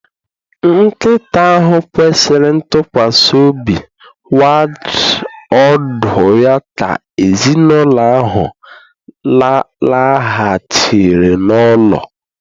Nkịta ahụ kwesịrị ntụkwasị obi wagged ọdụ ya ka ezinụlọ ahụ laghachiri n'ụlọ.